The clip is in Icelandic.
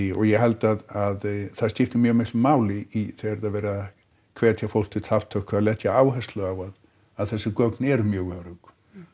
og ég held að það skipti mjög miklu máli þegar það er verið að hvertja fólk til þátttöku að leggja áherslu á að þessi gögn eru mjög örugg